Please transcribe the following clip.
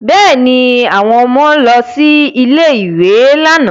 Bẹ́ẹ̀ ni, àwọn ọmọ lọ sí ilé-ìwé lánàá